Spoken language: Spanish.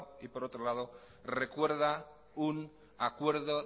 y por otro lado recuerda un acuerdo